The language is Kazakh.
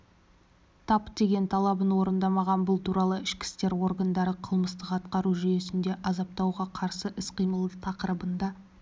тап деген талабын орындамаған бұл туралы ішкі істер органдары қылмыстық-атқару жүйесінде азаптауға қарсы іс-қимыл тақырыбында